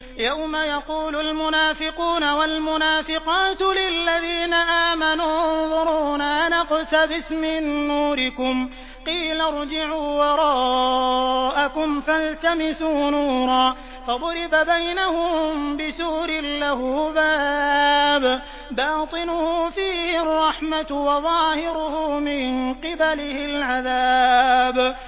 يَوْمَ يَقُولُ الْمُنَافِقُونَ وَالْمُنَافِقَاتُ لِلَّذِينَ آمَنُوا انظُرُونَا نَقْتَبِسْ مِن نُّورِكُمْ قِيلَ ارْجِعُوا وَرَاءَكُمْ فَالْتَمِسُوا نُورًا فَضُرِبَ بَيْنَهُم بِسُورٍ لَّهُ بَابٌ بَاطِنُهُ فِيهِ الرَّحْمَةُ وَظَاهِرُهُ مِن قِبَلِهِ الْعَذَابُ